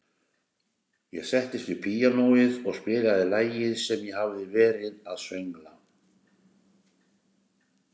Ég settist við píanóið og spilaði lagið sem ég hafði verið að söngla.